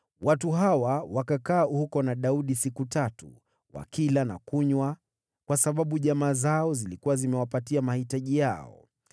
Watu hawa wakakaa huko na Daudi siku tatu, wakila na kunywa, kwa sababu jamaa zao zilikuwa zimewapatia mahitaji yao.